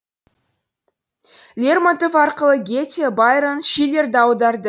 лермонтов арқылы гете байрон шиллерді аударды